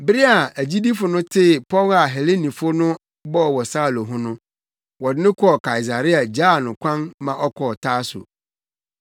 Bere a agyidifo no tee pɔw a Helenifo no bɔɔ wɔ Saulo ho no, wɔde no kɔɔ Kaesarea gyaa no kwan ma ɔkɔɔ Tarso.